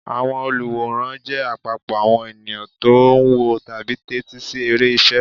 Àwọn olùwòran jẹ́ àpapọ̀ àwọn ènìyàn tó ń wò tàbí tẹ́tí sí eré ìṣe.